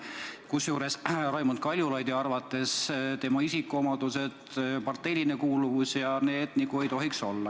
Kusjuures Raimond Kaljulaidi arvates tema isikuomadused ja parteiline kuuluvus nagu ei tohiks olla need, mis on.